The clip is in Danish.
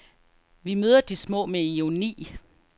Vi møder de små med ironi.